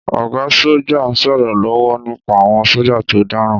Ọ̀gá sọ́jà ń sọ̀rọ̀ lọ́wọ́ nípa àwọn sọ́jà tó dáràn.